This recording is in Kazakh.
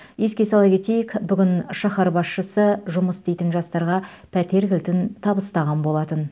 еске сала кетейік бүгін шаһар басшысы жұмыс істейтін жастарға пәтер кілтін табыстаған болатын